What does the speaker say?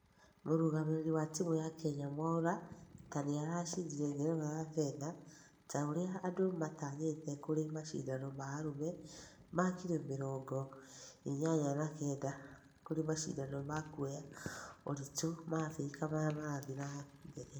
mũrugamĩrĩri wa timu ya kenya mwaura ta niarashindire ngerenwa ya fedha ta ũria andũ matanyĩte kũri mashidano ma arũme ma kiro mĩrongo inyanya na kenda kũri mashindano ma kũoya uritu ma africa maria marathie na mbere